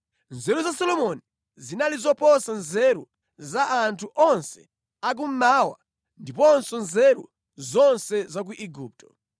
Nzeru za Solomoni zinali zoposa nzeru za anthu onse a Kummawa ndiponso nzeru zonse za ku Igupto.